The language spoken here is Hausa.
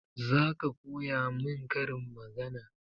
Zaka koya mun karin magana?